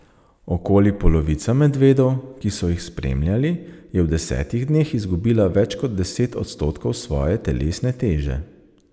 Okoli polovica medvedov, ki so jih spremljali, je v desetih dneh izgubila več kot deset odstotkov svoje telesne teže.